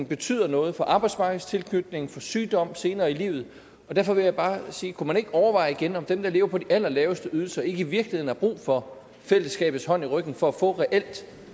betyder noget for arbejdsmarkedstilknytningen for sygdom senere i livet derfor vil jeg bare sige kunne man ikke overveje igen om dem der lever på de allerlaveste ydelser ikke i virkeligheden har brug for fællesskabets hånd i ryggen for at få reelt